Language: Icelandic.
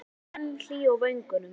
Sólin var enn hlý á vöngum.